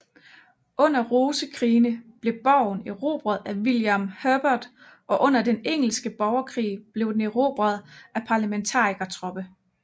Under rosekrigene blev borgen erobret af William Herbert og under den engelske borgerkrig blev den erobret af parlementarikertropper